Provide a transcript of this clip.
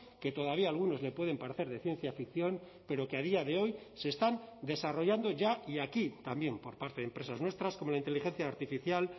que todavía a algunos le pueden parecer de ciencia ficción pero que a día de hoy se están desarrollando ya y aquí también por parte de empresas nuestras como la inteligencia artificial